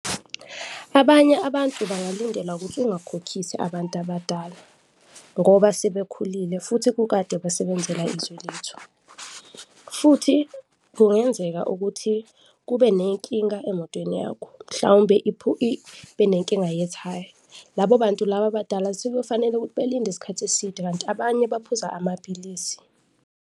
Abanye abantu bangalindela ukuthi ungakhokhisi abantu abadala ngoba sebekhulile futhi kukade besebenzela izwe lethu. Futhi kungenzeka ukuthi kube nenkinga emotweni yakho, mhlawumbe ibe nenkinga yethaya, labo bantu laba abadala sekuyofanele ukuthi belinde isikhathi eside kanti abanye baphuza amaphilisi.